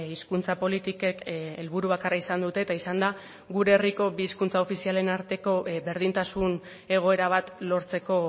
hizkuntza politikek helburu bakarra izan dute eta izan da gure herriko bi hizkuntza ofizialen arteko berdintasun egoera bat lortzeko